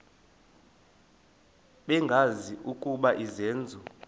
bengazi ukuba izenzo